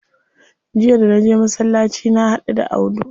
Jiya da naje masallaci na haɗu da Audu.